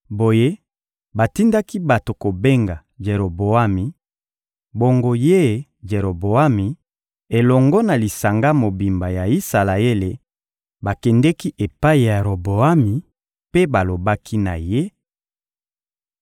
Boye, batindaki bato kobenga Jeroboami; bongo ye Jeroboami elongo na lisanga mobimba ya Isalaele bakendeki epai ya Roboami mpe balobaki na ye: